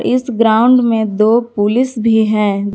इस ग्राउंड में दो पुलिस भी हैं।